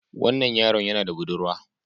Wannan yaron yana da budurwa